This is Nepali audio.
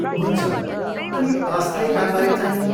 हुन्छ, अनि अस्थायी कामबारे चाहिँ?